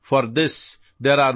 ہمیں اس کی پرورش کرنی چاہیے